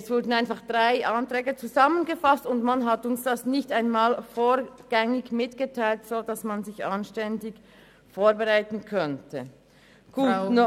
Nun wurden einfach drei Anträge zusammengefasst, und man hat uns dies vorgängig nicht einmal mitgeteilt, sodass man sich anständig hätte vorbereiten können.